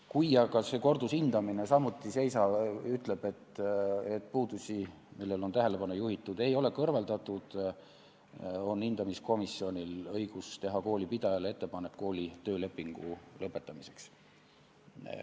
Kui aga kordushindamine ütleb, et puudusi, millele on tähelepanu juhitud, ei ole kõrvaldatud, on hindamiskomisjonil õigus teha koolipidajale ettepanek koolijuhi tööleping lõpetada.